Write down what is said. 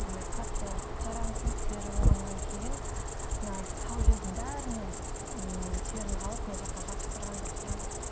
міне қатты жарамсыз тері болғаннан кейін мынау сау жердің бәрінен ммм теріні алып мына жаққа жабыстырған жабыстырған